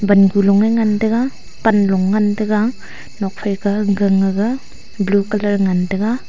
pan ku long e ngan taiga pan long e ngan taiga nuak phai kah gan ga blue colour ngan tai ga.